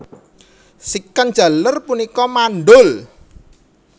Sican jaler punika mandhul